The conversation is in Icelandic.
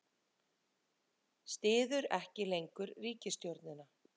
Styður ekki lengur ríkisstjórnina